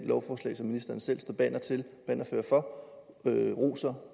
lovforslag som ministeren selv er bannerfører for roser